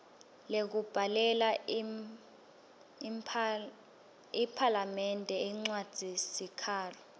lekubhalela iphalamende incwadzisikhalo